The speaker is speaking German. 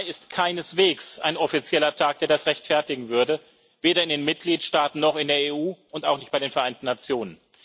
17. Mai ist keineswegs ein offizieller Tag, der das rechtfertigen würde, weder in den Mitgliedstaaten noch in der EU und auch nicht bei den Vereinten Nationen.